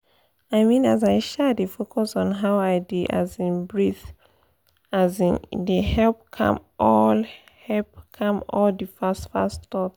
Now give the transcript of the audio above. i mean as i um dey focus on how i dey um breathe um e dey help calm all help calm all the fast-fast thought